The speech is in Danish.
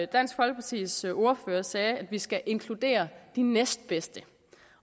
dansk folkepartis ordfører sagde at vi skal inkludere de næstbedste